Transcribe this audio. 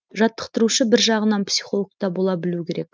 жаттықтырушы бір жағынан психологта бола білуі керек